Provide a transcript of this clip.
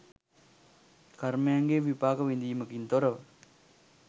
කර්මයන්ගේ විපාක විදීමකින් තොරව